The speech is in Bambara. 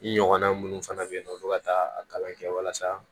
I ɲɔgɔnna minnu fana bɛ yen nɔ olu ka taa a kalan kɛ walasa